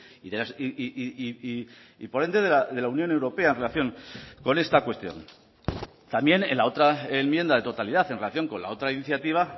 y y por ende de la unión europea en relación con esta cuestión también en la otra enmienda de totalidad en relación con la otra iniciativa